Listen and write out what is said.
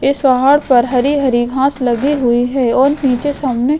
इस पहाड़ पर हरि हरि घाँस लगी हुई है और निचे सामने --